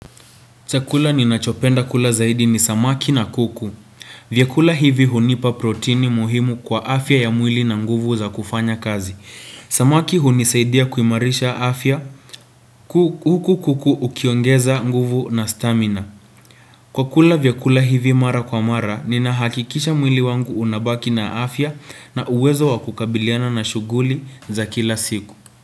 Chakula ninachopenda kula zaidi ni samaki na kuku. Vyakula hivi hunipa proteini muhimu kwa afya ya mwili na nguvu za kufanya kazi. Samaki hunisaidia kuimarisha afya huku kuku ukiongeza nguvu na stamina. Kwa kula vyakula hivi mara kwa mara, nina hakikisha mwili wangu unabaki na afya na uwezo wakukabiliana na shughuli za kila siku.